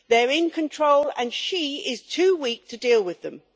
They are in control, and she is too weak to deal with them.